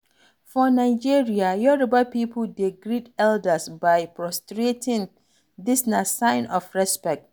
For Nigeria, yoruba pipo dey greet elders by prostrating, this na sign of respect